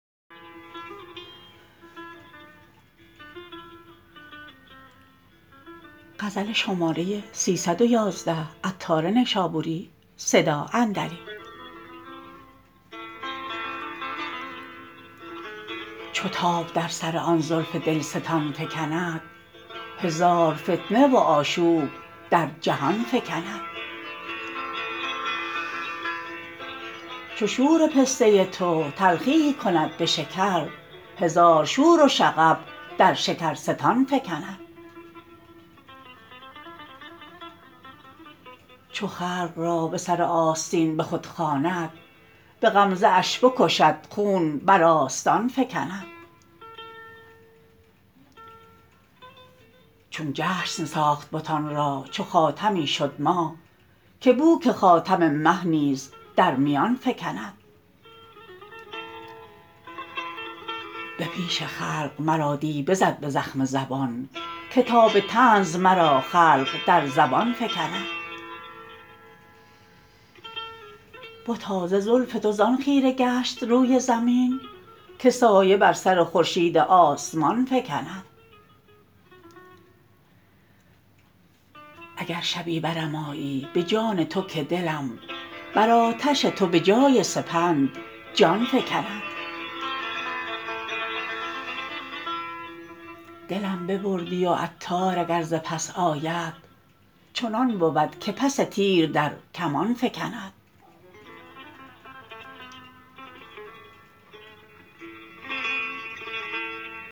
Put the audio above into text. چو تاب در سر آن زلف دلستان فکند هزار فتنه و آشوب در جهان فکند چو شور پسته تو تلخیی کند به شکر هزار شور و شغب در شکرستان فکند چو خلق را به سر آستین به خود خواند به غمزه شان بکشد خون برآستان فکند چون جشن ساخت بتان را چو خاتمی شد ماه که بو که خاتم مه نیز در میان فکند به پیش خلق مرا دی بزد به زخم زبان که تا به طنز مرا خلق در زبان فکند بتا ز زلف تو زان خیره گشت روی زمین که سایه بر سر خورشید آسمان فکند اگر شبی برم آیی به جان تو که دلم بر آتش تو به جای سپند جان فکند دلم ببردی و عطار اگر ز پس آید چنان بود که پس تیر در کمان فکند